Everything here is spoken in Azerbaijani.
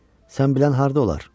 Sən bilən harda olar?